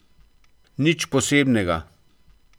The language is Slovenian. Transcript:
Nič posebnega.